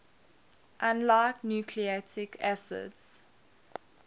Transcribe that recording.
unlike nucleic acids